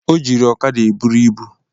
Ọ jiri ọkada e buru ịbụ